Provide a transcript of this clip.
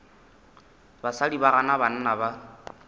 basadi ba gana banna ba